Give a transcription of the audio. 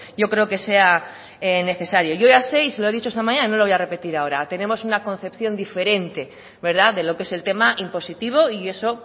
yo creo que sea necesario yo ya sé y se lo he dicho esta mañana no lo voy a repetir ahora tenemos una concepción diferente de lo que es el tema impositivo y eso